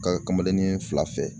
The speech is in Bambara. Ka kamalennin fila fɛ